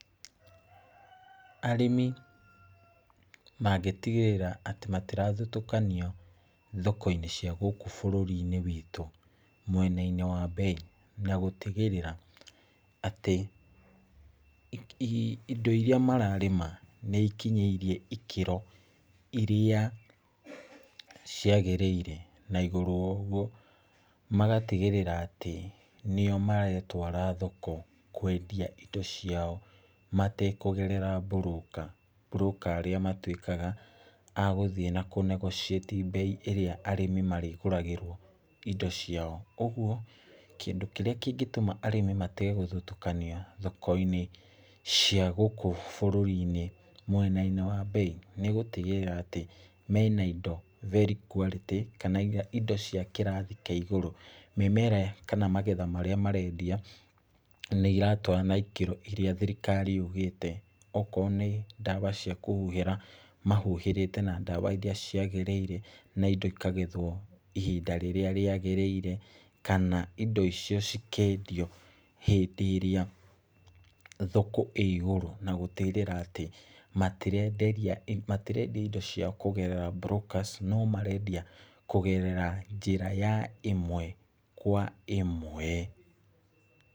Arĩmi mangĩtigĩrĩra atĩ matirathutũkanio thoko-inĩ cia gũkũ bũrũri-inĩ witũ mwena-inĩ wa mbei na gũtigĩrĩra atĩ, hihi indo iria mararĩma nĩ ikinyĩirie ikĩro, iria ciagĩrĩire. Na igũrũ wa ũguo, magatigĩrĩra atĩ nĩo maretwara thoko kwendia indo ciao matekũgerera broker. Broker arĩa matũĩkaga agũthiĩ na kũ negotiate mbei ĩrĩa arĩmi marĩgũragĩrwo indo ciao, ũguo, kĩndũ kĩrĩa kĩngĩtũma arĩmi matige gũthutũkanio thoko-inĩ cia gũkũ bũrũri-inĩ, mwena-inĩ wa mbei nĩ gũtigĩrĩra atĩ mena indo very quality, kana indo cia kĩrathi kĩa igũrũ. Mĩmera kana magetha marĩa marendia, nĩ iratwarana na ikĩro iria thirikari yũgĩte. Okorwo nĩ ndawa cia kũhuhĩra, mahuhĩrĩte na ndawa iria ciagĩrĩire, na indo cikagethwo hĩndĩ ĩrĩa yagĩrĩire, kana indo icio cikendio hĩndĩ ĩrĩa thoko ĩigũrũ. Na gũtigĩrĩra atĩ, matirenderia indo ciao kũgerera brokers, no marendia kũgerera njĩra ya ĩmwe kwa ĩmwe.